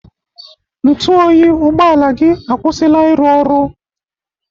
Ntụ oyi ụgbọala gị akwụsịla ịrụ ọrụ.